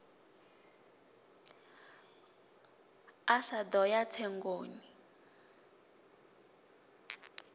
a sa ḓo ya tsengoni